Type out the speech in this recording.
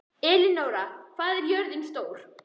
Elenóra, hvað er jörðin stór?